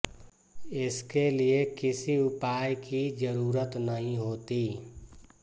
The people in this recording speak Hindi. इसके लिए किसी उपाय की जरूरत नहीं होती